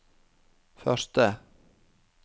første